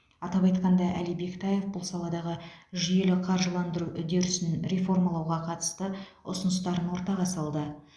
атап айтқанда әли бектаев бұл саладағы жүйелі қаржыландыру үдерісін реформалауға қатысты ұсыныстарын ортаға салды